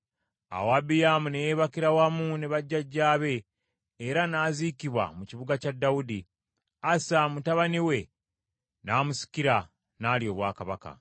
Awo Abiyaamu ne yeebakira wamu ne bajjajjaabe era n’aziikibwa mu kibuga kya Dawudi. Asa mutabani we n’amusikira, n’alya obwakabaka.